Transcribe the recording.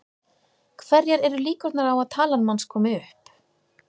Hverjar eru líkurnar á að talan manns komi upp?